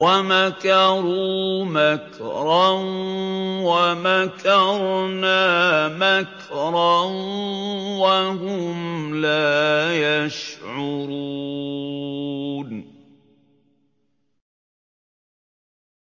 وَمَكَرُوا مَكْرًا وَمَكَرْنَا مَكْرًا وَهُمْ لَا يَشْعُرُونَ